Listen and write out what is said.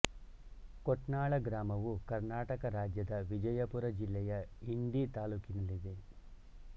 ಕೊಟ್ನಾಳ ಗ್ರಾಮವು ಕರ್ನಾಟಕ ರಾಜ್ಯದ ವಿಜಯಪುರ ಜಿಲ್ಲೆಯ ಇಂಡಿ ತಾಲ್ಲೂಕಿನಲ್ಲಿದೆ